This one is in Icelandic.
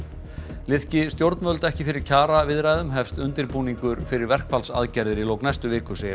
liðki stjórnvöld ekki fyrir kjaraviðræðum hefst undirbúningur fyrir verkfallsaðgerðir í lok næstu viku segir